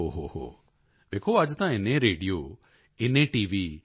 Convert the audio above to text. ਓ ਹੋ ਹੋ ਵੇਖੋ ਅੱਜ ਤਾਂ ਇੰਨੇ ਰੇਡੀਓ ਇੰਨੇ ਟੀ